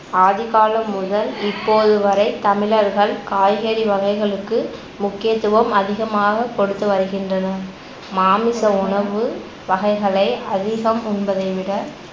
ஆதிகாலம் முதல் இப்போது வரை தமிழர்கள் காய்கறி வகைகளுக்கு முக்கியத்துவம் அதிகமாகக் கொடுத்து வருகின்றனர். மாமி உணவு வகைகளை அதிகம் உண்பதை விட